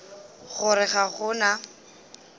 go re ga go na